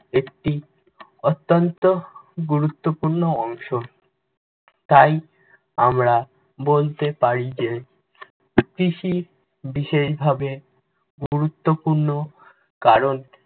একটি অত্যন্ত গুরুত্বপূর্ণ অংশ। তাই আমরা বলতে পারি যে, কৃষি বিশেষভাবে গুরুত্বপূর্ণ। কারণ,